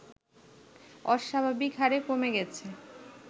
অস্বাভাবিকহারে কমে গেছে